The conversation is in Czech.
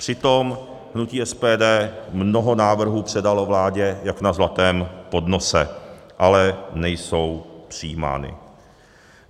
Přitom hnutí SPD mnoho návrhů předalo vládě jak na zlatém podnosu, ale nejsou přijímány.